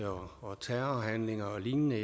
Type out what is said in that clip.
og terrorhandlinger og lignende